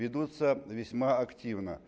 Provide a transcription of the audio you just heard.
ведутся весьма активно